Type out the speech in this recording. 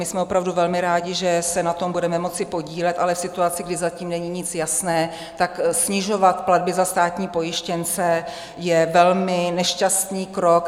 My jsme opravdu velmi rádi, že se na tom budeme moci podílet, ale v situaci, kdy zatím není nic jasné, tak snižovat platby za státní pojištěnce je velmi nešťastný krok.